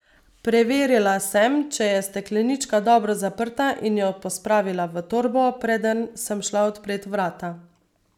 Preverila sem, če je steklenička dobro zaprta, in jo pospravila v torbo, preden sem šla odpret vrata.